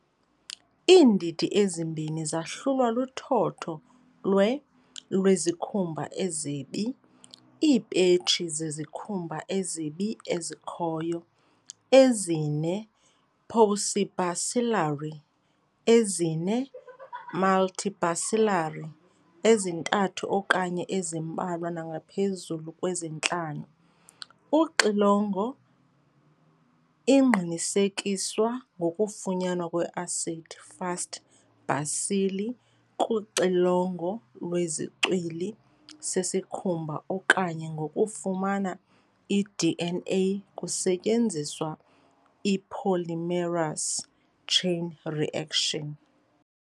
Iindidi ezimbini zahlulwa luthotho lwe-lwezikhumba ezibi, iipetshi zezikhumba ezibi ezikhoyo, ezine-paucibacillary ezine-multibacillary ezintathu okanye ezimbalwa nangaphezulu kwezintlanu. Uxilongo, ingqinisekiswa ngokufunyanwa kwe-acid-fast bacilli kuxilongo lwezicwili sesikhumba okanye ngokufumana i-DNA kusetyenziswa i-polymerase chain reaction.